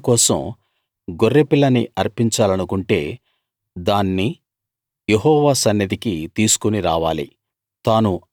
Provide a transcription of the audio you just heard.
తన అర్పణ కోసం గొర్రె పిల్లని అర్పించాలనుకుంటే దాన్ని యెహోవా సన్నిధికి తీసుకుని రావాలి